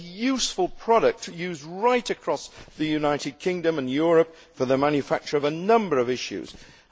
a useful product used right across the United Kingdom and Europe for the manufacture of a number of products.